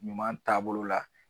Ɲuman taabolo la